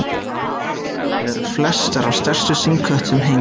Þar á meðal eru flestar af stærstu stingskötum heims.